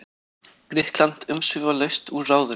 Grikkland umsvifalaust úr ráðinu.